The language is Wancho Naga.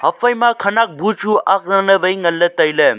aphaima khanak bu chu ak lan ley wai nganley tailey.